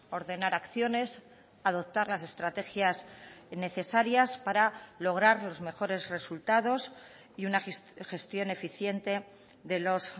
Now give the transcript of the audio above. ordenar acciones adoptar las estrategias necesarias para lograr los mejores resultados y una gestión eficiente de los